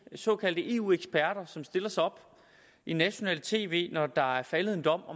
såkaldte eu eksperter som stiller sig op i nationalt tv når der er faldet en dom